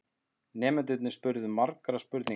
Nemendurnir spurðu margra spurninga.